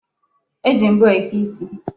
E ji mbọ eke isi.